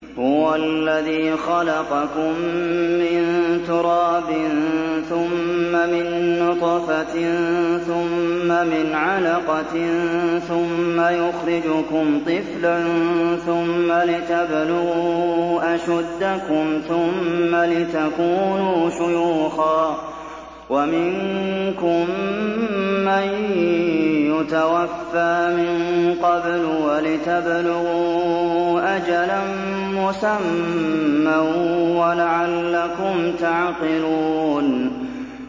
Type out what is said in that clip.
هُوَ الَّذِي خَلَقَكُم مِّن تُرَابٍ ثُمَّ مِن نُّطْفَةٍ ثُمَّ مِنْ عَلَقَةٍ ثُمَّ يُخْرِجُكُمْ طِفْلًا ثُمَّ لِتَبْلُغُوا أَشُدَّكُمْ ثُمَّ لِتَكُونُوا شُيُوخًا ۚ وَمِنكُم مَّن يُتَوَفَّىٰ مِن قَبْلُ ۖ وَلِتَبْلُغُوا أَجَلًا مُّسَمًّى وَلَعَلَّكُمْ تَعْقِلُونَ